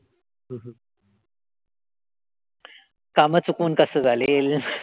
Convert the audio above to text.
कामं चुकवून कसं चालेल?